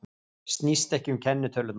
Snýst ekki um kennitölurnar